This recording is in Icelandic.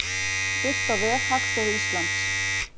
Birt á vef Hagstofu Íslands.